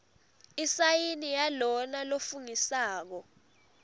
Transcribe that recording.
isayini yalona lofungisako